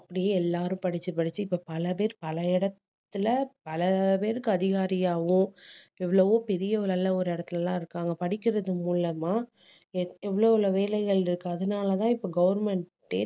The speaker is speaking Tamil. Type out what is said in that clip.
அப்படியே எல்லாரும் படிச்சு படிச்சு இப்ப பல பேர் பல இடத்துல பல பேருக்கு அதிகாரியாவும் எவ்வளவோ பெரிய நல்ல ஒரு இடத்துல எல்லாம் இருக்காங்க படிக்கறது மூலமா எத்~ எவ்ளோளவு வேலைகள் இருக்கு அதனாலதான் இப்ப government ஏ